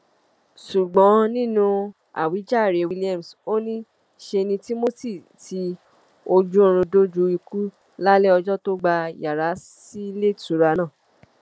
ṣùgbọn nínú àwíjàre williams ò ní ṣe ni timothy ti ojúoòrùn dójú ikú lálẹ ọjọ tó gbà yàrá síléetura náà